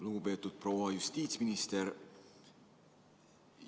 Lugupeetud proua justiitsminister!